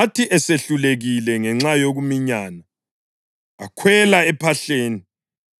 Athi esehlulekile ngenxa yokuminyana kwabantu, akhwela ephahleni,